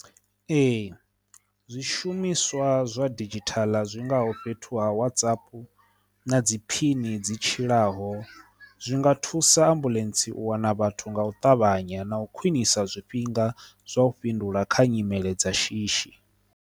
Ee, zwishumiswa zwa didzhithala zwingaho fhethu ha WhatsApp na dzi phini dzi tshilaho zwi nga thusa ambuḽentse u wana vhathu nga u ṱavhanya na u khwinisa zwifhinga zwa u fhindula kha nyimele dza shishi.